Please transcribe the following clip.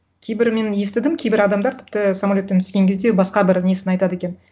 кейбірі мен естідім кейбір адамдар тіпті самолеттан түскен кезде басқа бір несін айтады екен